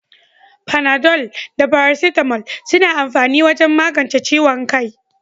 Panadol da paracetamol suna amfani wajen magance ciwon kai.